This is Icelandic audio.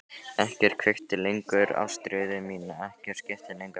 Ekkert kveikti lengur ástríðu mína, ekkert skipti lengur máli.